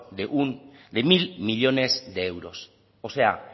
de mil millónes de euros o sea